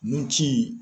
Nun ci